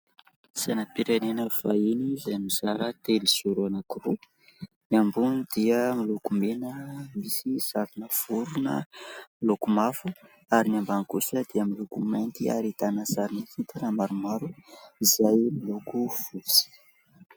Sainam-pirenena fahiny izay mizara telozoro anankiroa ; ny ambony dia miloko mena misy sarina vorona miloko mavo ; ary ny ambany kosa dia miloko mainty ary ahitana sary fitana maromaro izay miloko fotsy.